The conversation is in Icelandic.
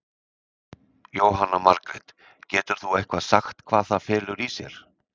Jóhanna Margrét: Getur þú eitthvað sagt hvað það felur í sér?